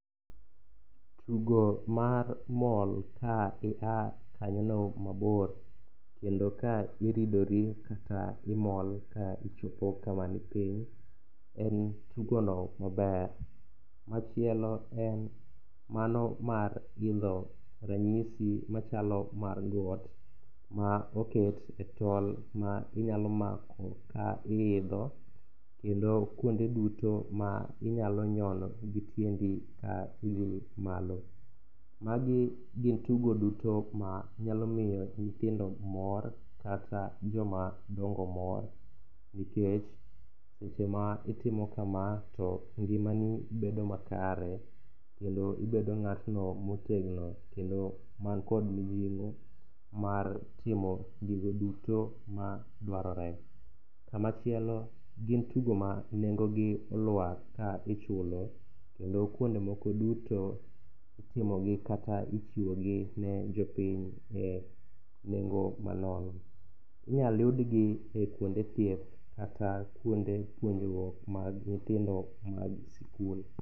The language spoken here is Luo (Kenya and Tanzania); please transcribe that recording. Tugo mar mol ka ia kanyono mabor kendo ka iridori kata imol ka ichopo kama ni piny en tugono maber. Machielo en mano mar gindho ranyisi machalo mar got ma oket e tol ma inyalo mako ka iidho kendo kuonde duto ma inyalo nyono gi tiendi ka idhi malo. Magi gin tugo duto manyalo miyo nyithindo mor kata jomadongo mor nikech seche ma itimo kama to ngimani bedo makare kendo ibedo ng'atno motegno kendo mankod mijing'o mar timo gigo duto madwarore. Kamachielo gin tugo ma nengogi olwar ka ichulo kendo kuondmoko duto itimogi kata ichiwone jopiny e nengo manono. Inyal yudgi e kuonde thieth kata kuonde puonjruok mag nyithindo mag sikul